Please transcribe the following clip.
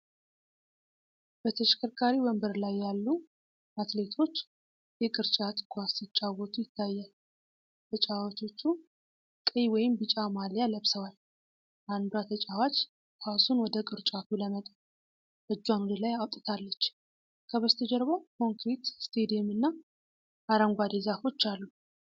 በተሽከርካሪ ወንበር ላይ ያሉ አትሌቶች የቅርጫት ኳስ ሲጫወቱ ይታያል። ተጫዋቾቹ ቀይ ወይም ቢጫ ማልያ ለብሰዋል፤ አንዷ ተጫዋች ኳሱን ወደ ቅርጫቱ ለመጣል እጇን ወደ ላይ አውጥታለች። ከበስተጀርባ ኮንክሪት ስታዲየም እና አረንጓዴ ዛፎች አሉ።